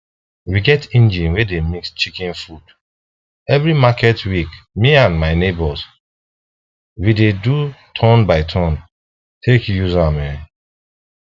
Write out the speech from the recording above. we get engine wey dey mix chicken food every market week me and my neighbors we dey do turnbyturn take use am um